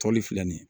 Tɔli filɛ nin ye